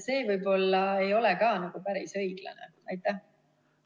See võib-olla ei ole päris õiglane,.